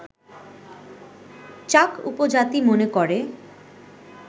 চাক উপজাতি মনে করে